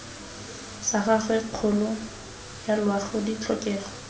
ga gagwe kgolo yaloago ditlhokego